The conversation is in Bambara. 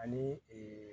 Ani